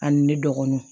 Ani ne dɔgɔninw